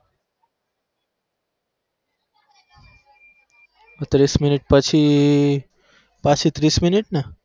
ત્રીસ minute પછી પાછી ત્રીસ minute ને?